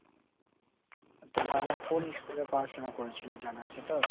তোর বাবা কোন ইস্কুলে পড়াশুনা করেছিল জানা আছে তোর ?